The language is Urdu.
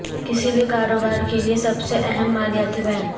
کسی بھی کاروبار کے لئے سب سے اہم مالیاتی بیان